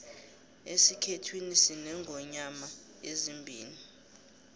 esikhethwini sinengonyoma ezimbili